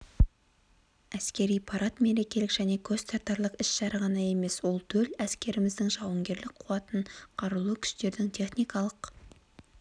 әскери парад мерекелік және көзтартарлық іс-шара ғана емес ол төл әскеріміздің жауынгерлік қуатын қарулы күштердің техникалық